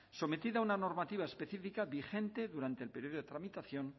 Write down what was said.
sometida a una normativa específica vigente durante el período de tramitación